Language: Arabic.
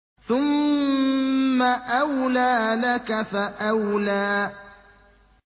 ثُمَّ أَوْلَىٰ لَكَ فَأَوْلَىٰ